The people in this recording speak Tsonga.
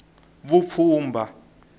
vupfhumba